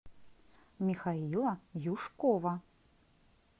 михаила юшкова